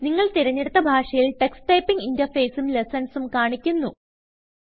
നിങ്ങൾ തിരഞ്ഞെടുത്ത ഭാഷയിൽ ടക്സ് ടൈപ്പിംഗ് Interfaceഉം ലെസ്സൺസും കാണിക്കുന്നു